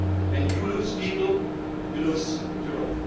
When you lose people, you lose Europe.